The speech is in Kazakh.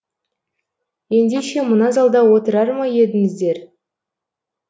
ендеше мына залда отырар ма едіңіздер